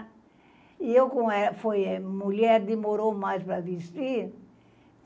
E eu, com é, foi mulher, é, demorou mais para vestir.